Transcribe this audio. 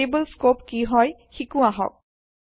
variable scope কি হয় শিকো আহক